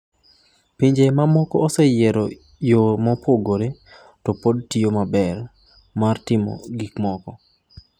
"""Pinje mamokoe osenyalo yiero yo mopogore - to pod tiyo maber - mar timo gik moko.